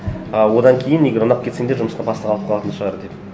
а одан кейін егер ұнап кетсеңдер жұмысқа бастық алып қалатын шығар деп